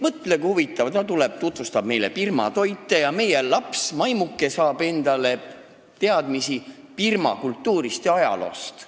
Mõtle, kui huvitav – ta tuleb tutvustab meile Birma toite ja meie laps, maimuke, saab teadmisi Birma kultuurist ja ajaloost.